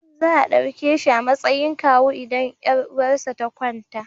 Za a ɗauke shi a matsayin kawu idan 'yar uwarsa ta kwanta.